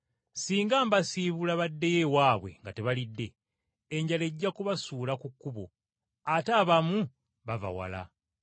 Singa mbasiibula baddeyo ewaabwe nga tebalidde, enjala ejja kubasuula ku kkubo! Ate abamu bava wala.”